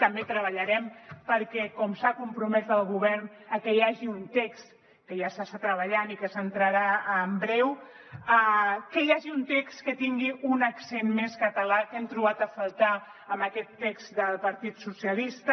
també treballarem perquè com s’hi ha compromès el govern hi hagi un text que ja s’hi està treballant i que s’entrarà en breu que tingui un accent més català que hem trobat a faltar en aquest text del partit socialista